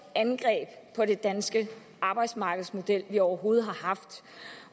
angreb på den danske arbejdsmarkedsmodel vi overhovedet har haft